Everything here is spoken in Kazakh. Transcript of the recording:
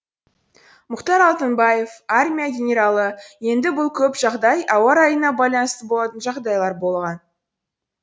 мұхтар алтынбаев армия генералы енді бұл көп жағдай ауа райына байланысты болатын жағдайлар болған